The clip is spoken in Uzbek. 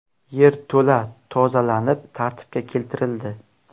Yerto‘la tozalanib, tartibga keltirildi.